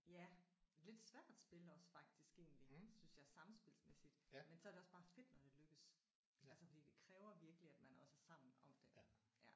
Ja lidt svært spil også faktisk egentlig synes jeg sammenspilsmæssigt men så er det også bare fedt når det lykkes altså for det kræver virkelig at man også er sammen om det